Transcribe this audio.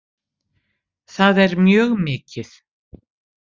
Það er mjög mikið